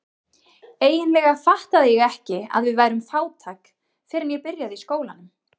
Eiginlega fattaði ég ekki að við værum fátæk fyrr en ég byrjaði í skólanum.